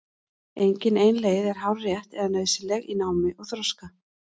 Engin ein leið er hárrétt eða nauðsynleg í námi og þroska.